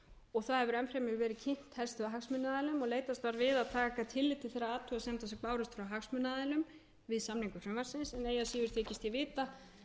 og það hefur enn fremur verið kynnt helstu hagsmunaaðilum og leitast var við að taka tillit til þeirra athugasemda sem bárust frá hagsmunaaðilum við samningu frumvarpsins eigi að síður þykist ég vita